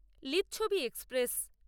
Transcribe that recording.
Lichchhavi express